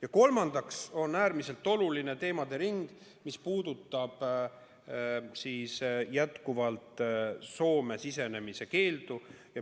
Ja kolmandaks on äärmiselt oluline teemade ring, mis puudutab Soome sisenemise keeldu.